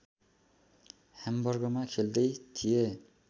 ह्याम्बर्गमा खेल्दै थिए